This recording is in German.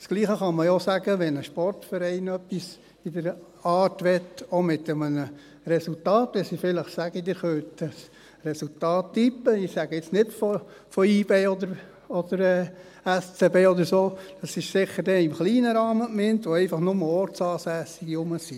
Das Gleiche kann man ja auch sagen, wenn ein Sportverein etwas in dieser Art machen möchte, auch mit einem Resultat, wenn sie vielleicht sagen, «Ihr könnt das Resultat tippen» – ich sage jetzt nicht von YB oder SCB oder so, dann ist das sicher nicht im kleinen Rahmen gemeint, wo einfach nur Ortsansässige anwesend sind.